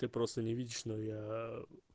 ты просто не видишь но я